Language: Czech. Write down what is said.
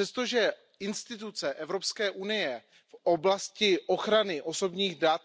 Přestože instituce EU v oblasti ochrany osobních dat